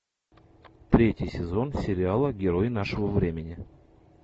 третий сезон сериала герой нашего времени